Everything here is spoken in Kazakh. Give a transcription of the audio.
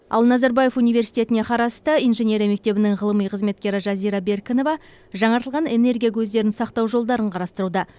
ал назарбаев университетіне қарасты инженерия мектебінің ғылыми қызметкері жазира беркінова жаңартылған энергия көздерін сақтау жолдарын қарастыруда